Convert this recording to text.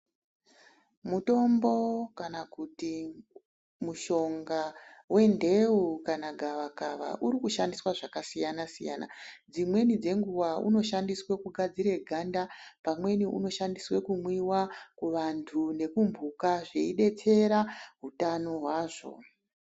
Mutombo kana kuti mushonga wenteu kana gavakava uri kushandiswa zvakasiyana-siyana. Dzimweni dzenguwa unoshandiswa kugadzire ganda, pamweni unoshandiswa kumwiwa ,kuvantu nekumbhuka zveidetsera utano hwazvo.